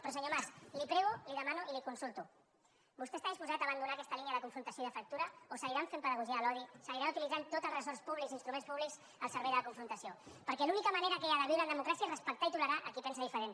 però senyor mas li prego li demano i li consulto vostè està disposat a abandonar aquesta línia de confrontació i de fractura o seguiran fent pedagogia de l’odi seguiran utilitzant tots els ressorts públics i instruments públics al servei de la confrontació perquè l’única manera que hi ha de viure en democràcia és respectar i tolerar a qui pensa diferent